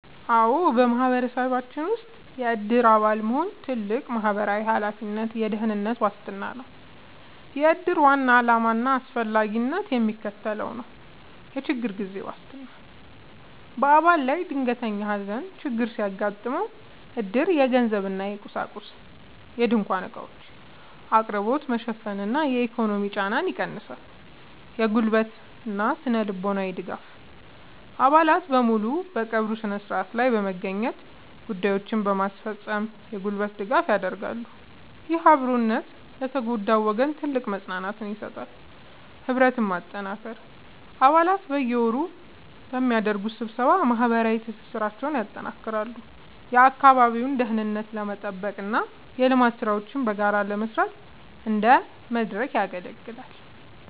አዎ፣ በማህበረሰባችን ውስጥ የዕድር አባል መሆን ትልቅ ማህበራዊ ኃላፊነትና የደህንነት ዋስትና ነው። የዕድር ዋና ዓላማና አስፈላጊነት የሚከተለው ነው፦ የችግር ጊዜ ዋስትና፦ በአባል ላይ ድንገተኛ የሐዘን ችግር ሲያጋጥም፣ ዕድር የገንዘብና የቁሳቁስ (ድንኳንና ዕቃዎች) አቅርቦትን በመሸፈን የኢኮኖሚ ጫናን ይቀንሳል። የጉልበትና ስነ-ልቦናዊ ድጋፍ፦ አባላት በሙሉ በቀብሩ ሥነ ሥርዓት ላይ በመገኘትና ጉዳዮችን በማስፈጸም የጉልበት ድጋፍ ያደርጋሉ። ይህ አብሮነት ለተጎዳው ወገን ትልቅ መጽናናትን ይሰጣል። ህብረትን ማጠናከር፦ አባላት በየወሩ በሚያደርጉት ስብሰባ ማህበራዊ ትስስራቸውን ያጠናክራሉ፤ የአካባቢውን ደህንነት ለመጠበቅና የልማት ሥራዎችን በጋራ ለመስራት እንደ መድረክ ያገለግላል።